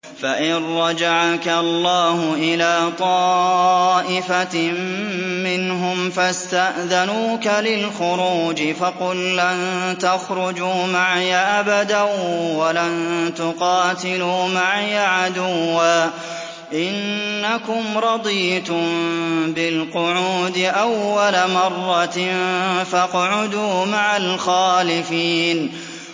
فَإِن رَّجَعَكَ اللَّهُ إِلَىٰ طَائِفَةٍ مِّنْهُمْ فَاسْتَأْذَنُوكَ لِلْخُرُوجِ فَقُل لَّن تَخْرُجُوا مَعِيَ أَبَدًا وَلَن تُقَاتِلُوا مَعِيَ عَدُوًّا ۖ إِنَّكُمْ رَضِيتُم بِالْقُعُودِ أَوَّلَ مَرَّةٍ فَاقْعُدُوا مَعَ الْخَالِفِينَ